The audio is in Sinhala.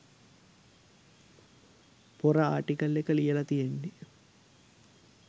පොර ආර්ටිකල් එක ලියලා තියෙන්නේ.